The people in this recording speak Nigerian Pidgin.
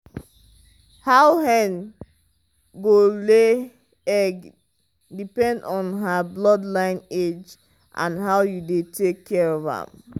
how hen go lay egg depend on her bloodline age and how you dey take care of am.